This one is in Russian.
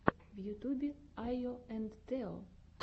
в ютьюбе айо энд тео